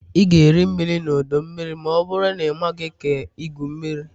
Ị ga-eri mmiri na ọdọ mmiri ma ọ bụrụ na ị maghị ka igwu mmiri